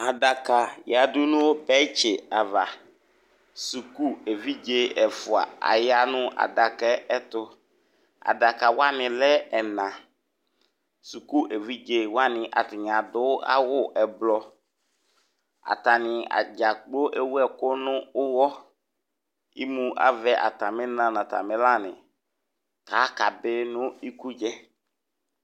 Aɖaka yeaɖʋ nʋ benchi avasukʋ evidze ɛfua aya nʋ adakayɛ tʋ Adakawani alɛ ɛnaSukʋ evidzewani aɖʋ awʋ ɛblɔ Atani dza kplo ewu ɛkʋ nʋ uwɔEmu avɛ atamina nʋ atamilani k'akabi nʋ ikudzayɛ